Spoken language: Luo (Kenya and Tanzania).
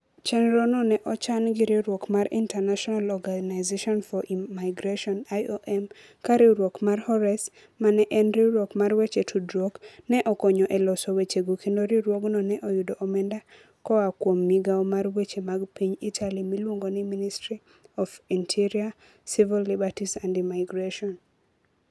Chenrono ne ochan gi riwruok mar International Organization for Migration (IOM), ka riwruok mar Horace, ma en riwruok mar weche tudruok, ne okonyo e loso wechego kendo riwruogno ne oyudo omenda koa kuom migawo mar weche mag piny Italy miluongo ni Ministry of the Interior, Civil Liberties and Immigration.